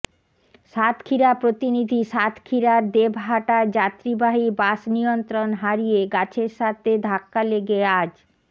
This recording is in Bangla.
সাতক্ষীরা প্রতিনিধি সাতক্ষীরার দেবহাটায় যাত্রীবাহী বাস নিয়ন্ত্রণ হারিয়ে গাছের সাথে ধাক্কা লেগে আজ